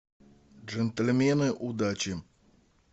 джентльмены удачи